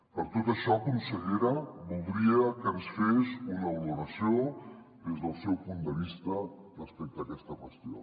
per tot això consellera voldria que ens fes una valoració des del seu punt de vista respecte a aquesta qüestió